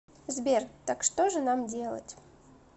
сбер так что же нам делать